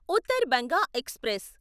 Uttar Banga express